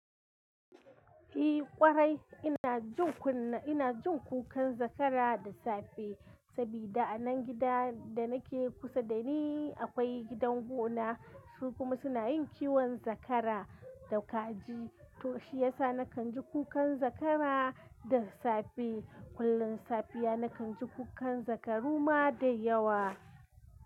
Eh ƙwarai ina jin kuna, ina jin kukan zakara da safe, saboda a nan gida da nake kusa da ni akwai gidan gona su kuma suna yin kiwon zakara da kaji to shi yasa na kan ji kukan zakara da safe. Kullum safiya na kan ji kukan zakaru ma da yawa.